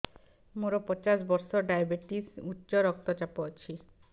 ମୋର ପଚାଶ ବର୍ଷ ଡାଏବେଟିସ ଉଚ୍ଚ ରକ୍ତ ଚାପ ଅଛି